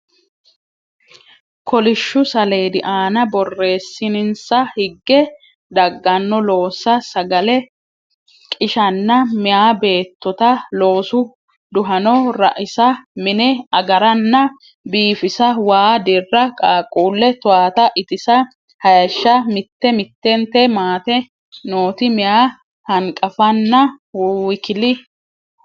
kolishshu saleedi aana borreessinsa higge dagganno loossa sagale qishanna Meya Beettota Loosu Duhano raisa mine agaranna biifisa waa dirra qaaqquulle towaata itisa hayishsha Mitte mittente maate nooti meya hanqafanna w k.